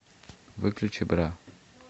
выключи бра